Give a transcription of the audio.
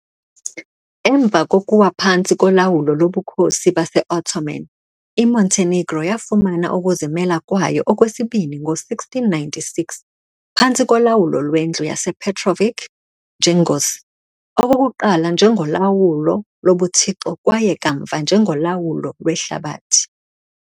Emva kokuwa phantsi kolawulo loBukhosi base-Ottoman, iMontenegro yafumana ukuzimela kwayo okwesibini ngo-1696 phantsi kolawulo lweNdlu yasePetrović-Njegoš, okokuqala njengolawulo lobuthixo kwaye kamva njengolawulo lwehlabathi.